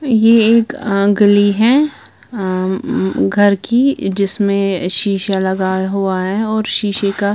ये एक अ गली है आ म घर की जिसमे शीशा लगा हुआ है और शीशे का--